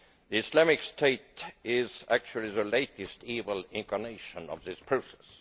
Islamic State is actually the latest evil incarnation of this process.